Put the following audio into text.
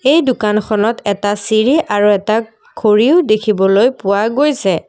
এই দোকানখনত এটা চিৰি আৰু এটা ঘড়ীও দেখিবলৈ পোৱা গৈছে।